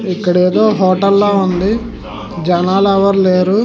ఇక్కడేదో హోటల్ ల ఉంది. జనాలు ఎవరు లేరు.